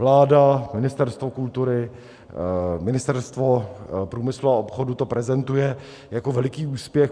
Vláda, Ministerstvo kultury, Ministerstvo průmyslu a obchodu to prezentují jako veliký úspěch.